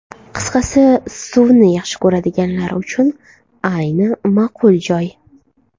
Qisqasi suvni xush ko‘radiganlar uchun ayni ma’qul joy.